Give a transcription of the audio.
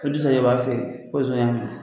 Ko Dirisa yɛrɛ b'a feere ko nson y'a minɛ